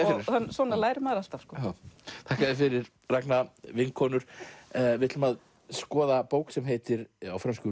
svona lærir maður alltaf þakka þér fyrir Ragna vinkonur við ætlum að skoða bók sem heitir á frönsku